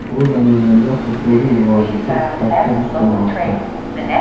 U Namanganda futbolning rivoji uchun katta ish qilmoqda.